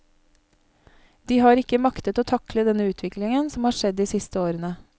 De har ikke maktet å takle den utviklingen som har skjedd de siste årene.